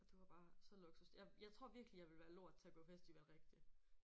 Det var bare så luksus. Jeg jeg tror virkelig jeg ville være lort til at gå festival rigtigt